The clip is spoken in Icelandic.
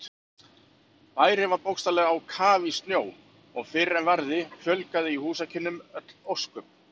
Bærinn var bókstaflega á kafi í snjó og fyrr en varði fjölgaði húsakynnum öll ósköp.